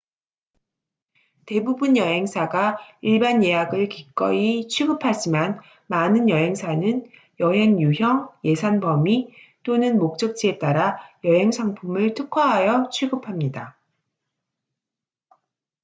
대부분 여행사가 일반 예약을 기꺼이 취급하지만 많은 여행사는 여행 유형 예산 범위 또는 목적지에 따라 여행 상품을 특화하여 취급합니다